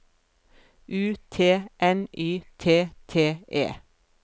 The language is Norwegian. U T N Y T T E